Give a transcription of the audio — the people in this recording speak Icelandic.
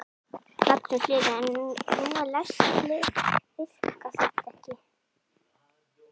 Magnús Hlynur: En nú eru læst hlið, virkar þetta ekki?